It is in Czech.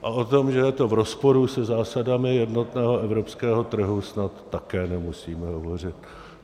A o tom, že je to v rozporu se zásadami jednotného evropského trhu, snad také nemusíme hovořit.